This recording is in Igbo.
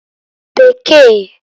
N